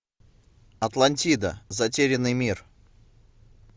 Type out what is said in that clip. атлантида затерянный мир